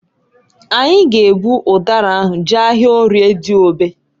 Anyị g'ebu ụdara ahụ jee ahịa Orie Diogbe.